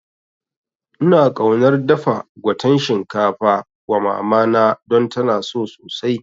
Ina kaunar dafa gwaten shinkafa wa mamana don tana so sosai